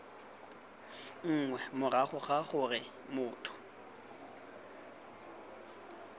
nngwe morago ga gore motho